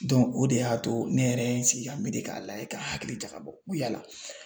o de y'a to ne yɛrɛ ye n sigi ka n miiri k'a layɛ ka hakili jakabɔ n ko yala